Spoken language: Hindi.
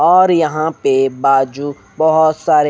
और यहां पे बाजू बहोत सारे--